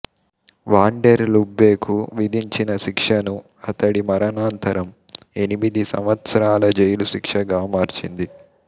van der లుబ్బేకు విధించిన శిక్షను అతడి మరణానంతరం ఎనిమిది సంవత్సరాల జైలు శిక్షగా మార్చింది